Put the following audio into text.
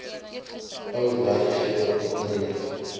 ou werkgewer onmiddellik